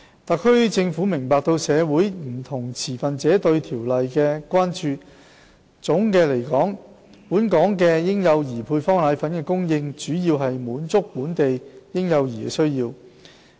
特區政府明白社會上不同持份者對《規例》的關注，總的來說，本港嬰幼兒配方粉的供應主要是滿足本地嬰幼兒的需要。